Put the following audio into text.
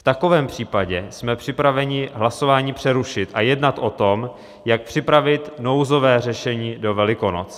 V takovém případě jsme připraveni hlasování přerušit a jednat o tom, jak připravit nouzové řešení do Velikonoc.